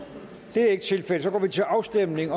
det er ikke tilfældet og så går vi til afstemning